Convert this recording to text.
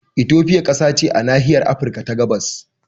Ethiopia kasa ce a nahiyar Afirka ta gabas